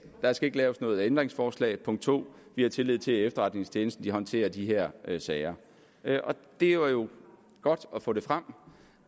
der skal ikke laves noget ændringsforslag punkt to vi har tillid til at efterretningstjenesten håndterer de her sager det er jo godt at få frem